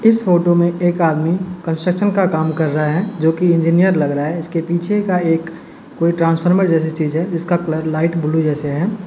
इस फोटो में एक आदमी कंस्ट्रक्शन का काम कर रहा है जोकि इंजीनियर लग रहा है। इसके पीछे का एक कोई ट्रांसफर्मर जैसी चीज है जिसका कलर लाइट ब्लू जैसे है।